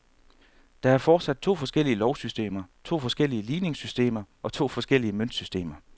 Der er fortsat to forskellige lovsystemer, to forskellige ligningssystemer og to forskellige møntsystemer.